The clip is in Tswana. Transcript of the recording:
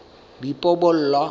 boipobolo